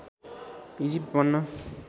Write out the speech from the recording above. Egypt बन्न